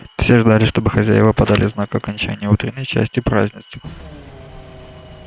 все ждали чтобы хозяева подали знак к окончанию утренней части празднества